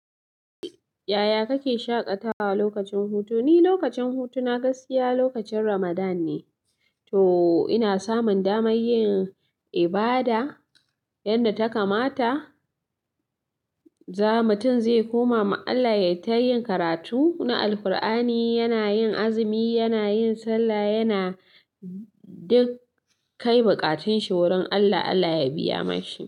Yaya kake shaƙatawa lokacin hutu? Ni lokacin hutu na gaskiya lokacin Ramadan ne, to ina samun damar yin ibada yadda ta kamata. Za mutum zai koma ma Allah, ya yi ta yin karatu na Alkur'ani, yana yin azumi, yana yin sallah, yana duk kai buƙatun shi wurin Allah, Allah ya biya mashi.